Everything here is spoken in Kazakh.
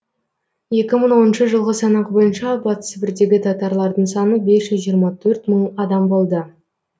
екі мың оныншы жылғы санақ бойынша батыс сібірдегі татарлардың саны бес жүз жиырма төрт мың адам болды